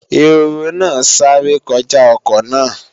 Ehoro náà sáré kọjá ọkọ náà